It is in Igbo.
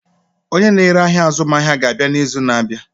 Onye na-ere ahịa azụmaahịa ga-abịa n'izu na-abịa.